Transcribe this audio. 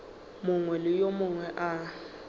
mongwe le yo mongwe a